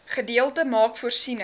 gedeelte maak voorsiening